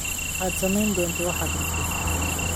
Waxaad samayn doontaa waxaad rabto.